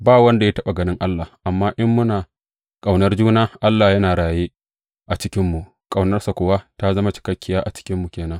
Ba wanda ya taɓa ganin Allah; amma in muna ƙaunar juna, Allah yana raye a cikinmu, ƙaunarsa kuwa ta zama cikakkiya a cikinmu ke nan.